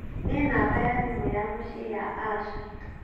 nĩ namba ya thimũ ya mũciĩ ya Asha